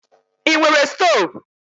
I nwere stọv?